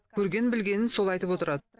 көрген білгенін сол айтып отырады